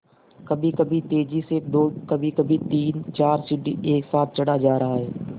कभीकभी तेज़ी से दो कभीकभी तीनचार सीढ़ी एक साथ चढ़ा जा रहा है